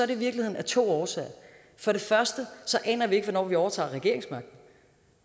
det i virkeligheden af to årsager for det første aner vi ikke hvornår vi overtager regeringsmagten